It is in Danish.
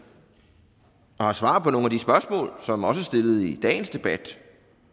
og har svar på nogle af de spørgsmål som også stillet i dagens debat